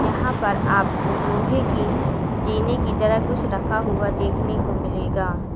यहां पर आपको लोहे के जीने की तरह कुछ रखा हुआ कुछ देखने को मिलेगा।